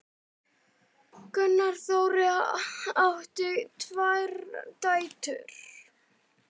Gunnar Þórir átti tvær dætur.